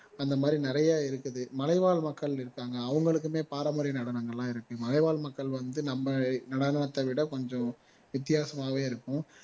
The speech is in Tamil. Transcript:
அந்த மாதிரி நிறைய இருக்குது மலைவாழ் மக்கள் இருக்காங்க அவங்களுக்குமே பாரம்பரிய நடனங்கள் எல்லாமே இருக்கு மலைவாழ் மக்கள் வந்து நம்ம நடனத்தை விட கொஞ்சம் வித்தியாசமாவே இருக்கும்